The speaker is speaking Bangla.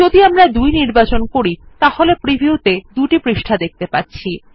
যদি আমরা ২ নির্বাচন করি তাহলে প্রিভিউ ত়ে ২ টি পৃষ্ঠা দেখত়ে পাচ্ছি